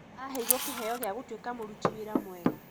Aheirwo kĩheo gĩa gũtuĩka mũruti wĩra mwega